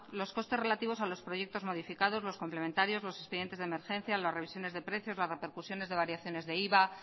los costes relativos a los proyectos modificados los complementarios los expedientes de emergencia las revisiones de precios las repercusiones de variaciones de iva